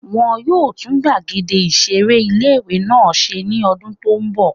Wọ́n yóò tún gbàgede ìseré ilé-ìwé náà ṣe ní ọdún tó n bọ̀